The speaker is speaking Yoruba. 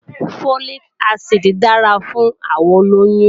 Folic acid dára fún àwọn olóyún